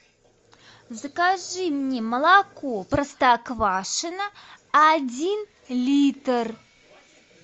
закажи мне молоко простоквашино один литр